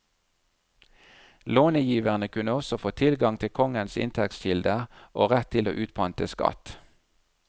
Lånegiverne kunne også få tilgang til kongens inntektskilder og rett til å utpante skatt.